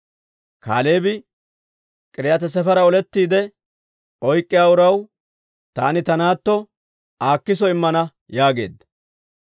Kaaleebi, «K'iriyaati-Sefera olettiide oyk'k'iyaa uraw taani ta naatto Aakiso immana» yaageedda.